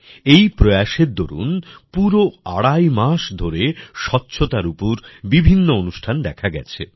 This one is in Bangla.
এই প্রয়াস এর দরুন পুরো আড়াই মাস ধরে স্বচ্ছতার উপর বিভিন্ন অনুষ্ঠান দেখা গেছে